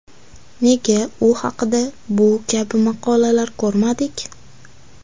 Nega u haqda bu kabi maqolalar ko‘rmadik?